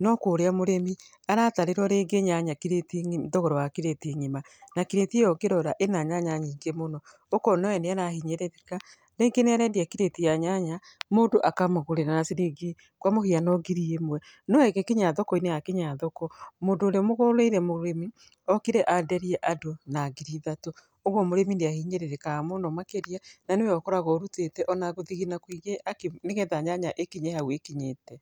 no kũrĩa mũrĩmĩ, aratarĩrũo rĩngĩ thogora wa crate ng'ĩma na crate ĩyo ũkĩrora ĩrĩ na nyanya nyingĩ mũno. Ũkona we nĩ arahinyĩrĩrĩka, rĩngĩ nĩ arendia crate ya nyanya mũndũ akamũgũrĩra na ciringi kwa mũhiano ngiri ĩmwe, no ĩgĩkinya thokoinĩ yakinya thoko mũndũ ũrĩa ũmũgũrĩire mũrĩmi, okire enderia andũ na ngiri ithatũ. Ũguo mũrĩmĩ nĩahinyĩrĩrĩkaga mũno makĩria, na nĩwe ũkoragũo ũrutĩte ona gũthigina kũingĩ nĩgetha nyanya ĩkinye hau ĩkinyĩte